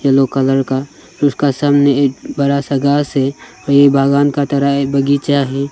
Yellow colour का फिर उसका सामने एक बरा सा घास है और ये बागान का तरह बगीचा है।